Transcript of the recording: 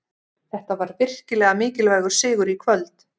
Þetta var virkilega mikilvægur sigur í kvöld.